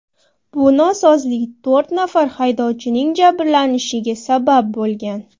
Bu nosozlik to‘rt nafar haydovchining jabrlanishiga sabab bo‘lgan.